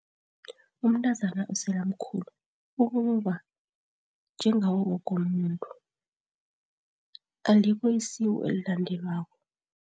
Umntazana osele amkhulu ubulungwa njengawo woke umuntu. Alikho isiko elilandelwako.